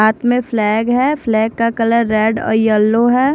हाथ में फ्लैग है फ्लैग का कलर रेड और येलो है।